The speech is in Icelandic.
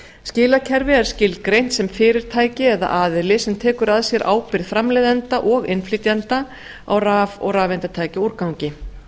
skilakerfi er skilgreint sem fyrirtæki eða aðili sem tekur að sér ábyrgð framleiðanda og innflytjanda á raf og rafeindatækjaúrgangi